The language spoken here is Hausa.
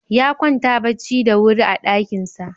Ya kwanta bacci da wuri a ɗakinsa.